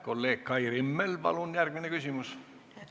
Kolleeg Kai Rimmel, palun järgmine küsimus!